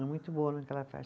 É muito boa no que ela faz.